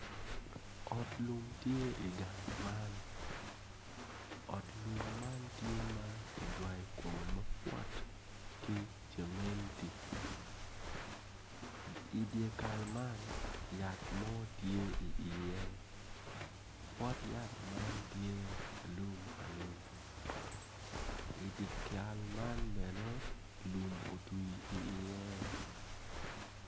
Ot lum tye i gang man ot lum man tye ma ki jwayo kome mabwot ki cementi i dyekal man yat mo tye iye pot yat man tye alum alum idikal man bene lum otwi iye